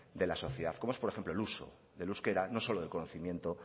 de la sociedad como es por ejemplo el uso del euskera no solo de conocimiento